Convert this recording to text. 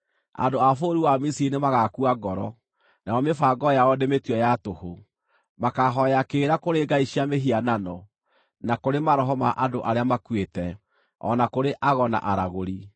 Andũ a bũrũri wa Misiri nĩmagakua ngoro, nayo mĩbango yao ndĩmĩtue ya tũhũ; makaahooya kĩrĩra kũrĩ ngai cia mĩhianano na kũrĩ maroho ma andũ arĩa makuĩte, o na kũrĩ ago na aragũri.